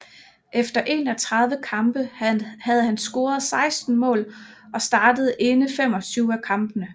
Efter 31 kampe havde han scoret 16 mål og startet inde 25 af kampene